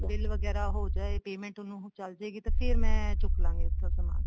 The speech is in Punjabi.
bill ਵਗੈਰਾ ਹੋ ਜਾਏ payment ਉਹਨੂੰ ਚਲਜੇਗੀ ਤੇ ਫ਼ੇਰ ਮੈਂ ਚੁੱਕ ਲਾਂਗੀ ਇੱਥੋ ਸਮਾਨ